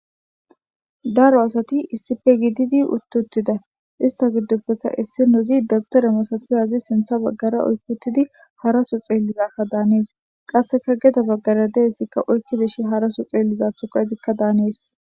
Daro asati issippe giididi utti uttida ,istta giidoppe issinezi dabwutera masatizayssa sinththen baggara oykki uttidi haraso xeelizaso xeeliza masates,qasekka gede baggara xeellizayssa harasso xeelizada giidi bettees.